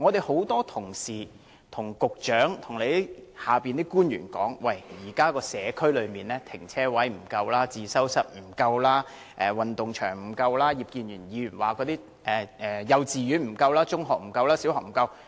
很多同事向局長和其轄下官員表示，現時社區內停車位、自修室、運動場不足，而葉建源議員則表示幼稚園、小學、中學均不足。